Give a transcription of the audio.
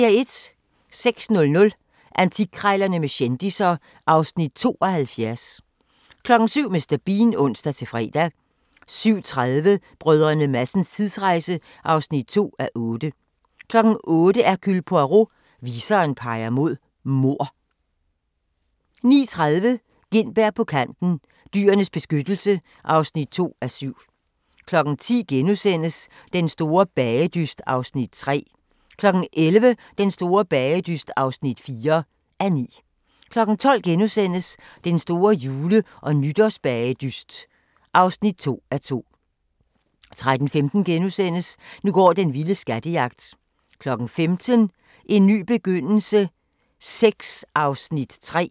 06:00: Antikkrejlerne med kendisser (Afs. 72) 07:00: Mr. Bean (ons-fre) 07:30: Brdr. Madsens tidsrejse (2:8) 08:00: Hercule Poirot: Viseren peger på mord 09:30: Gintberg på Kanten – Dyrenes Beskyttelse (2:7) 10:00: Den store bagedyst (3:9)* 11:00: Den store bagedyst (4:9) 12:00: Den store jule- og nytårsbagedyst (2:2)* 13:15: Nu går den vilde skattejagt * 15:00: En ny begyndelse VI (3:10)